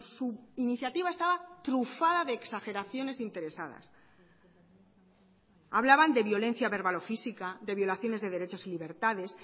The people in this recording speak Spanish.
su iniciativa estaba trufada de exageraciones interesadas hablaban de violencia verbal o física de violaciones de derechos y libertades